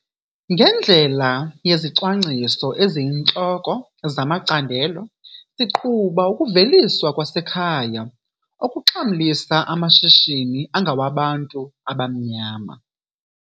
Ngendlela yezicwangciso eziyintloko zamacandelo siqhuba ukuveliswa kwasekhaya okuxhamlisa amashishini angawabantu abamnyama.